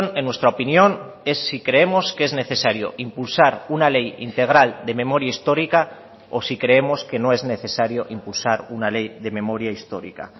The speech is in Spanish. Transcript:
en nuestra opinión es si creemos que es necesario impulsar una ley integral de memoria histórica o si creemos que no es necesario impulsar una ley de memoria histórica